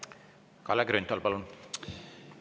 Kalle Grünthal, palun!